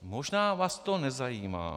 Možná vás to nezajímá.